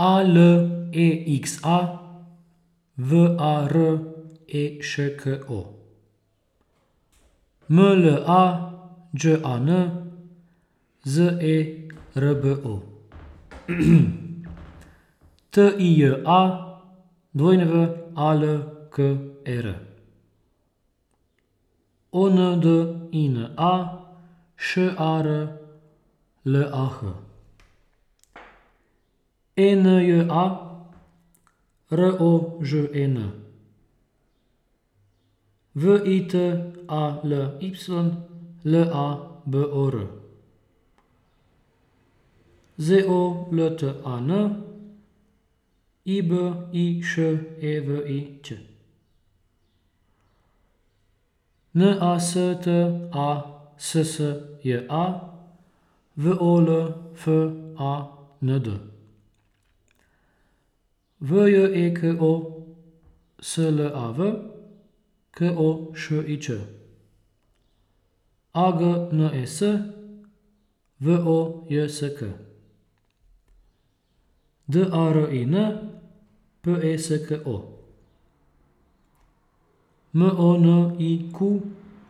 A L E X A, V A R E Š K O; M L A Đ A N, Z E R B O; T I J A, W A L K E R; O N D I N A, Š A R L A H; E N J A, R O Ž E N; V I T A L Y, L A B O R; Z O L T A N, I B I Š E V I Ć; N A S T A S S J A, V O L F A N D; V J E K O S L A V, K O Š I Č; A G N E S, V O J S K; D A R I N, P E S K O; M O N I Q